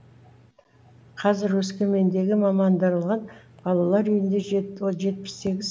қазір өскемендегі мамандандырылған балалар үйінде жетпіс сегіз сәби бар